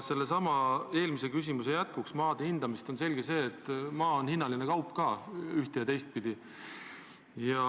Eelmise küsimuse jätkuks maade hindamise kohta ütlen, et on selge, et maa on hinnaline kaup ühte- ja teistpidi.